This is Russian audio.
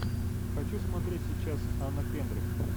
хочу смотреть сейчас анна кендрик